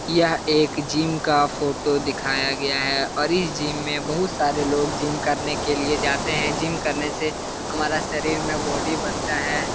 यह एक जिम का फोटो दिखाया गया है और इस जिम में बहुत सारे लोग जिम करने के लिए जाते है जिम करने से हमारा सरीर मे बॉडी बनता है ।